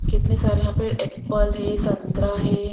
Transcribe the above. कितने सारे यहां पे एप्पल है संतरा है।